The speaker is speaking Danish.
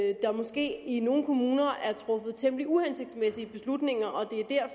at der måske i nogle kommuner er truffet temmelig uhensigtsmæssige beslutninger